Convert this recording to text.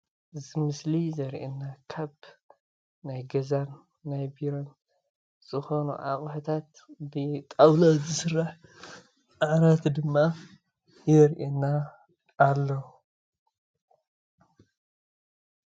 እዚ ምስሊ ዘርእይና ካብ ናይ ገዛን ናይ ቢሮን ዝኮኑ ኣቁሑታት ብጣዉላ ዝስራሕ ዓራት ድማ የርእየና ኣሎ።